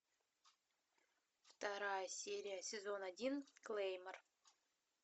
вторая серия сезон один клеймор